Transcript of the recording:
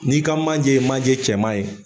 N'i ka manje ye manje cɛman ye